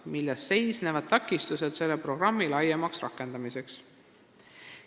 Milles seisnevad takistused selle programmi laiemaks rakendamiseks?